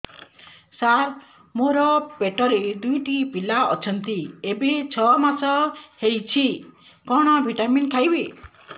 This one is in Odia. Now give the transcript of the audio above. ସାର ମୋର ପେଟରେ ଦୁଇଟି ପିଲା ଅଛନ୍ତି ଏବେ ଛଅ ମାସ ହେଇଛି କଣ ଭିଟାମିନ ଖାଇବି